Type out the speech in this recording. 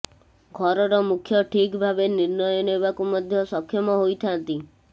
ଘରର ମୁଖ୍ୟ ଠିକ ଭାବେ ନିର୍ଣ୍ଣୟ ନେବାକୁ ମଧ୍ୟ ସକ୍ଷମ ହୋଇଥାଆନ୍ତି